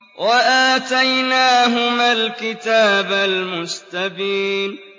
وَآتَيْنَاهُمَا الْكِتَابَ الْمُسْتَبِينَ